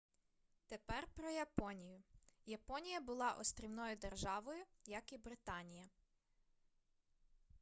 тепер про японію японія була острівною державою як і британія